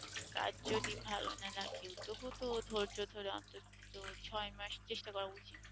কাজ যদি ভালো না লাগে তবু তো ধৈর্য ধরে অন্তত ছ'য় মাস চেষ্টা করা উচিত।